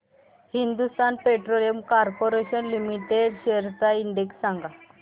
Hindustan petroleum corporation limited shares चा index सांगा